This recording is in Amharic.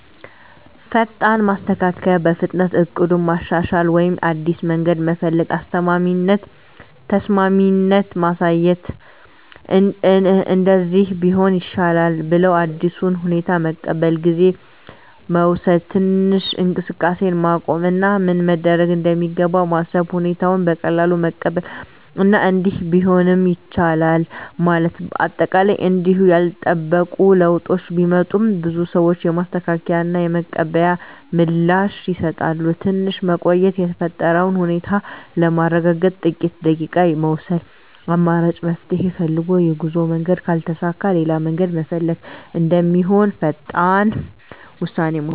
ፈጣን ማስተካከያ – በፍጥነት እቅዱን ማሻሻል ወይም አዲስ መንገድ መፈለግ። ተስማሚነት ማሳየት – “እንደዚህ ቢሆን ይሻላል” ብለው አዲሱን ሁኔታ መቀበል። ጊዜ መውሰድ – ትንሽ እንቅስቃሴን ማቆም እና ምን መደረግ እንደሚገባ ማሰብ። ሁኔታውን በቀላሉ መቀበል እና “እንዲህ ቢሆንም ይቻላል” ማለት። አጠቃላይ እንዲሁ ያልተጠበቁ ለውጦች ቢመጡም፣ ብዙ ሰዎች የማስተካከያ እና የመቀበል ምላሽ ይሰጣሉ። ትንሽ መቆየት – የተፈጠረውን ሁኔታ ለማረጋገጥ ጥቂት ደቂቃ መውሰድ። አማራጭ መፍትሄ ፈልግ – የጉዞ መንገድ ካልተሳካ ሌላ መንገድ መፈለግ እንደሚሆን ፈጣን ውሳኔ መውሰድ።